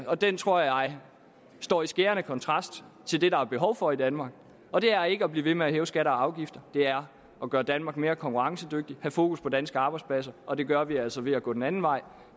og den tror jeg står i skærende kontrast til det der er behov for i danmark og det er ikke at blive ved med at hæve skatter og afgifter det er at gøre danmark mere konkurrencedygtig og have fokus på danske arbejdspladser og det gør vi altså ved at gå den anden vej